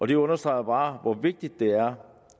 det understreger bare hvor vigtigt det er